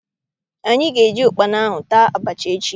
Anyị ga- eji ukpana ahụ taa abacha echi.